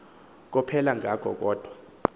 kophela ngako kodwa